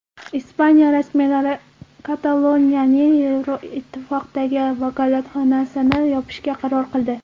Ispaniya rasmiylari Kataloniyaning Yevroittifoqdagi vakolatxonasini yopishga qaror qildi.